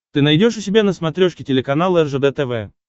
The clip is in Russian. ты найдешь у себя на смотрешке телеканал ржд тв